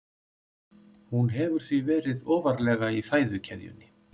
Hún hefur því verið ofarlega í fæðukeðjunni.